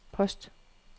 post